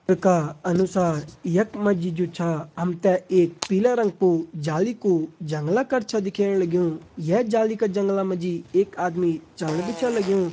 का अनुसार यख मा जी जू छा हम ते एक पीला रंग कु जालि कु जंगला कर छा दिखेण लग्युं ये जाली का जंगला मा जी एक आदमी चलन भी छ लग्युं।